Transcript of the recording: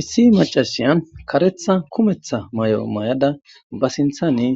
issi macashiya karetha kumetha may7o may7ada ba sinthane